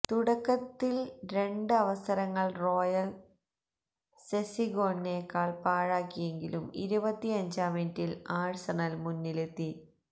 തുടക്കത്തില് രണ്ട് അവസരങ്ങള് റായന് സെസീഗ്നോണ് പാഴാക്കിയെങ്കിലും ഇരുപത്തിയഞ്ചാം മിനിറ്റില് ആഴ്സണല് മുന്നിലെത്തി